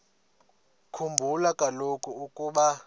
khumbula kaloku ukuba